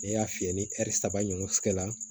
N'i y'a fiyɛ ni saba ɲɔgɔn kɛ la